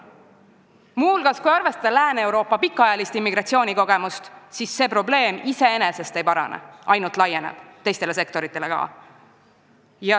Muu hulgas, kui arvestada Lääne-Euroopa pikaajalist immigratsioonikogemust, siis see probleem iseenesest ei parane, ainult laieneb ka teistesse sektoritesse.